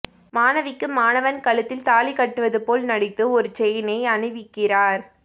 மாணவிக்கு மாணவன் கழுத்தில் தாலி கட்டுவது போல் நடித்து ஒரு செயினை அணிவிக்கிறார்